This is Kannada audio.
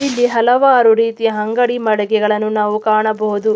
ಇಲ್ಲಿ ಹಲವಾರು ರೀತಿಯ ಅಂಗಡಿ ಮಳಿಗೆಗಳನ್ನು ನಾವು ಕಾಣಬಹುದು.